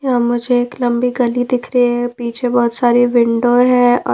यहां मुझे एक लंबी गली दिख रही है पीछे बहोत सारी विंडो है और--